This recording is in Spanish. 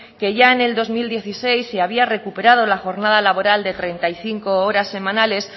que ya en el dos mil dieciséis se había recuperado la jornada laboral de treinta y cinco horas semanales